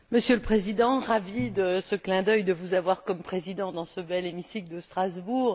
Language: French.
Monsieur le Président, je suis ravie de ce clin d'œil de vous avoir comme président dans ce bel hémicycle de Strasbourg.